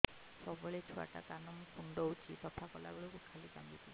ସବୁବେଳେ ଛୁଆ ଟା କାନ କୁଣ୍ଡଉଚି ସଫା କଲା ବେଳକୁ ଖାଲି କାନ୍ଦୁଚି